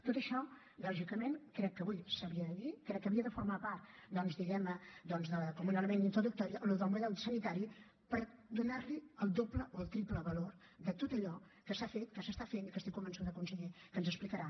tot això lògicament crec que avui s’havia de dir crec que havia de formar part doncs diguem ne com un element introductori del model sanitari per donar li el doble o el triple valor a tot allò que s’ha fet que s’està fent i que estic convençuda conseller que ens explicarà